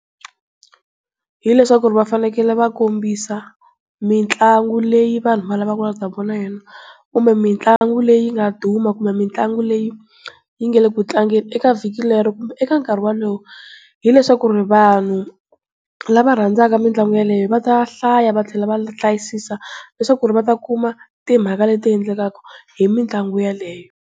Hileswaku va fanekele va kombisa mitlangu leyi vanhu va lavaka ku ta vona yona, kumbe mitlangu leyi yi nga duma, kumbe mitlangu leyi yi nga le ku tlangeni eka vhiki rero kumbe eka nkarhi walowo. Hileswaku vanhu lava va rhandzaka mitlangu yaleyo va ta hlaya va tlhela va hlayisisa leswaku va ta kuma timhaka leti endlekaka hi mitlangu yaleyo.